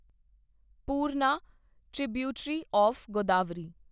Purna tributary of Godavari